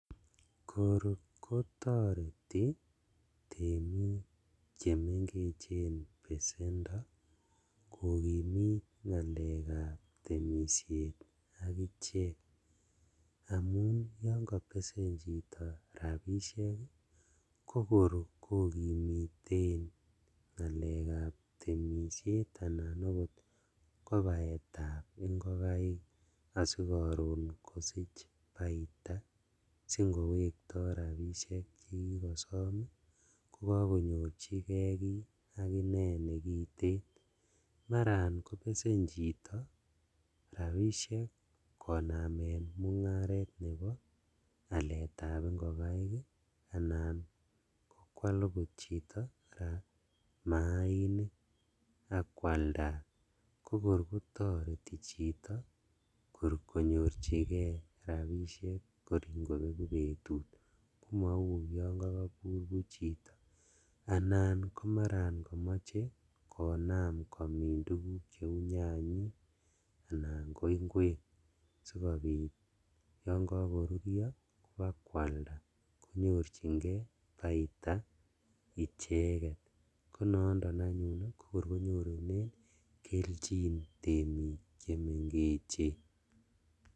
Korkotoreti temik chemengech besendo kokimit ngalekab temishet ii akichet, amun yon kobesen chito rabishek ii kokor kokimiten ngalekab temishet anan okot baetab ingokaik asikoron kosich baita singowekto rabishek chekikosom ii kokonyorjigee kii akinee nekiten, maran kobesen chito rabishek koname mungaret nebo aletab ingokaik anan kwal okot chito koraa maainik ak kwalndat kokor kotoreti chito konyorjigee rabishek kor ingobeku betut komou yon kokobur buch chito, anan komaran komoche konam kumin tuguk cheu nyanyik anan koinkwek sikobit yon kokorurio kobakwalda konyorjingee baita icheket konondon anyun ii konyorunen keljin temik chemengech.